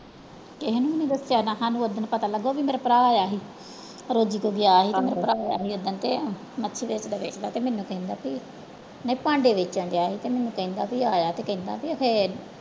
ਕਿਸੇ ਨੂੰ ਵੀ ਨੀ ਦੱਸਿਆ ਨਾ ਸਾਨੂੰ ਉੱਦਣ ਪਤਾ ਲੱਗਿਆ ਵੀ ਮੇਰਾ ਭਰਾ ਆਇਆ ਸੀ ਮੇਰਾ ਭਰਾ ਆਇਆ ਸੀ ਏਦਾਂਂ ਤੇ ਤੇ ਮੈਨੂੰ ਕਹਿੰਦਾ ਸੀ ਮੈਂ ਭਾਂਡੇ ਵੇਚਣ ਡਿਆ ਸੀ ਤੇ ਮੈਨੂੰ ਕਹਿੰਦਾ ਵੀ ਆਇਆ ਤੇ ਕਹਿੰਦਾ ਵੀ ਅਖੇ